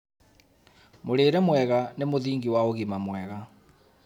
Mũrĩre mwega nĩ mũthingi wa ũgima mwega